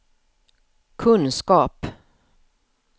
kunskap